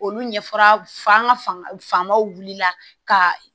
Olu ɲɛfɔra an ka fanbaw wulila ka